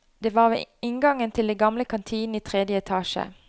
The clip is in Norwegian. Det var ved inngangen til den gamle kantinen i tredje etasje.